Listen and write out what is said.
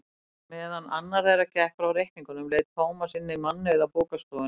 Meðan annar þeirra gekk frá reikningnum leit Tómas inn í mannauða bókastofuna.